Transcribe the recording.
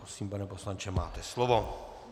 Prosím, pane poslanče, máte slovo.